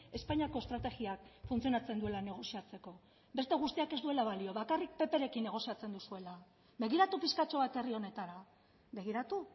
espainiako estrategiak funtzionatzen duela negoziatzeko beste guztiak ez duela balio bakarrik pprekin negoziatzen duzuela begiratu pixkatxo bat herri honetara begiratu